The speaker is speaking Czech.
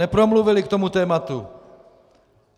Nepromluvili k tomuto tématu.